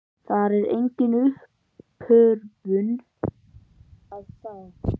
Þar er enga uppörvun að fá.